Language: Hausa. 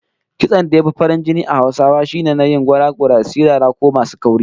Kitson da ya fi farin jini a Hausawa shine na yin gora-gora, sirara ko masu kauri